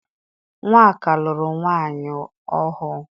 Nwaka lụrụ nwaanyị ọhụụ.